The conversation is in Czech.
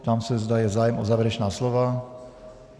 Ptám se, zda je zájem o závěrečná slova.